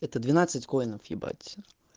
это двенадцать коинов ебать